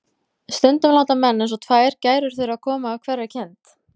Stundum láta menn eins og tvær gærur þurfi að koma af hverri kind.